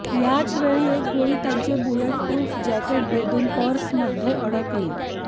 याच वेळी एक गोळी त्यांचे बुलेटप्रुफ जॅकेट भेदून पर्समध्ये अडकली